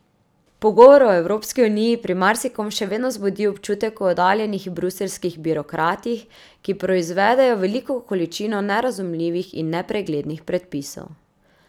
Pogovor o Evropski uniji pri marsikom še vedno vzbudi občutek o oddaljenih bruseljskih birokratih, ki proizvedejo veliko količino nerazumljivih in nepreglednih predpisov.